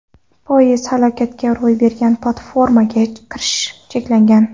Poyezd halokati ro‘y bergan platformaga kirish cheklangan.